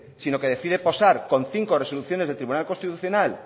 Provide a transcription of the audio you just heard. sino que decide posar con cinco resoluciones del tribunal constitucional